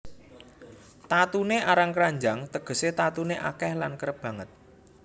Tatuné arang kranjang tegesé tatuné akèh lan kerep banget